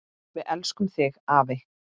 Við elskum þig afi!